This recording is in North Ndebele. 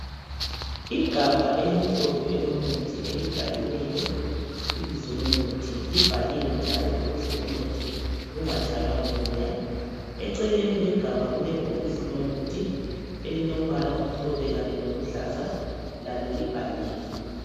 Igabha elimhlophe elomuthi elibhaliweyo ibizo lomuthi livaliwe njalo ukuze umuthi ungatshaywa ngumoya , eceleni kwegabha kule bhokisi lomuthi elilombala omhlophe Kanye loluhlaza lalo libhaliwe.